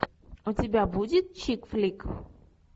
у тебя будет чикфлик